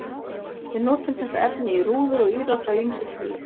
Við notum þetta efni í rúður og ílát af ýmsu tagi.